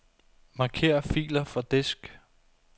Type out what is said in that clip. Marker filer fra disk.